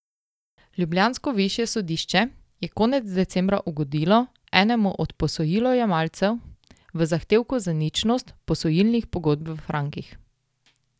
Ljubljansko višje sodišče je konec decembra ugodilo enemu od posojilojemalcev v zahtevku za ničnost posojilnih pogodb v frankih.